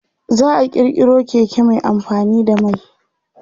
za'a kirkiro Keke Mai amfani da mai